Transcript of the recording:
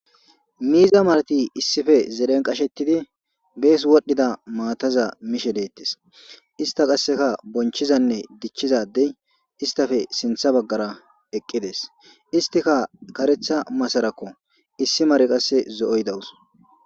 Miiza marati issife zeden qashettidi bees wodhdhida maataza mishe deettes ista qasseka bonchizanne dichchizadey istafe sintha baggara eqqides istika karetha masarakko issi mare qasse zo'oy dawus.